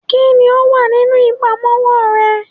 kini o wa ninu ipamowo re?